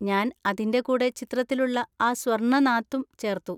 ഞാൻ അതിൻ്റെ കൂടെ ചിത്രത്തിലുള്ള ആ സ്വർണ നാത്തും ചേർത്തു.